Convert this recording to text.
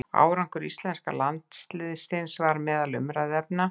Árangur íslenska landsliðsins var meðal umræðuefna.